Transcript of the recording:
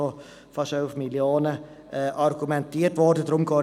Deshalb werde ich nicht näher darauf eingehen.